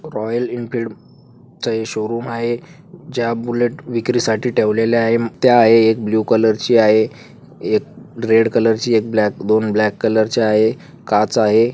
Royal Enfield चा हे showroom आहे ज्या बुलेट विक्रीसाठी ठेवलेली आहे त्या आहे एक ब्ल्यु कलर ची आहे एक रेड कलर ची एक ब्लॅक दोन ब्लॅक कलर ची आहे काच आहे.